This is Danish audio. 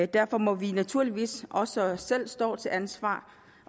derfor må vi naturligvis også også selv stå til ansvar